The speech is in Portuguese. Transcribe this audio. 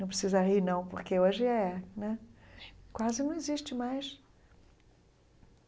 Não precisa rir, não, porque hoje é né. Quase não existe mais.